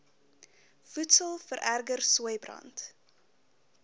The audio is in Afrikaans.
voedsel vererger sooibrand